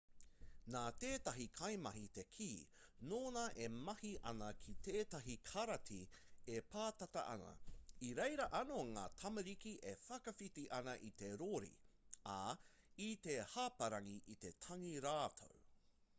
nā tētahi kaimahi te kī nōnā e mahi ana ki tētahi karāti e pātata ana i reira anō ngā tamariki e whakawhiti ana i te rori ā i te hāparangi i te tangi rātou